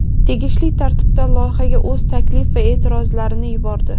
tegishli tartibda loyihaga o‘z taklif va e’tirozlarini yubordi.